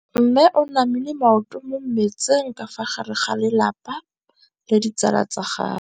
Mme o namile maoto mo mmetseng ka fa gare ga lelapa le ditsala tsa gagwe.